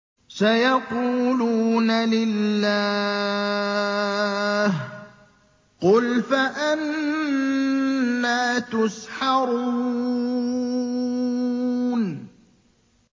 سَيَقُولُونَ لِلَّهِ ۚ قُلْ فَأَنَّىٰ تُسْحَرُونَ